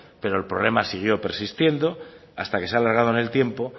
pero el problema siguió persistiendo hasta que se ha alargado en el tiempo